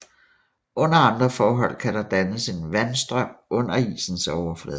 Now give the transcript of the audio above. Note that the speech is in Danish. Under andre forhold kan der dannes en vandstrøm under isens overflade